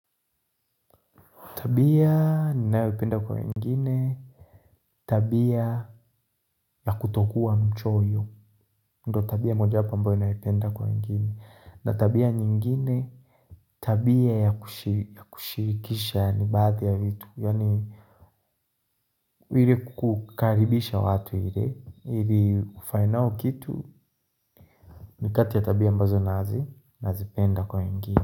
Tabia ninayopenda kwa wengine tabia ya kutokuwa mchoyo ndo tabia mojawapo ambayo naipenda kwa wengine. Na tabia nyingine, tabia ya kushirikisha yaani baadhi ya vitu, ili kukaribisha watu ili ili kufanya nao kitu ni kati ya tabia ambazo nazi nazipenda kwa wengine.